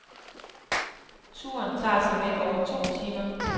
Turen tager såmænd over to timer.